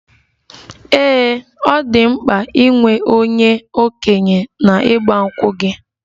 Ee, ọ dị mkpa inwe onye okenye na igba nkwu gị?